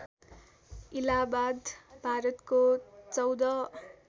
इलाहाबाद भारतको १४